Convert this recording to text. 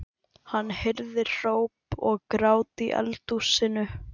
Hann heyrði hróp og grát í eldhúsinu.